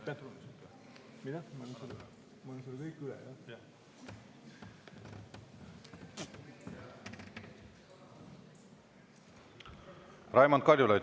Raimond Kaljulaid, palun!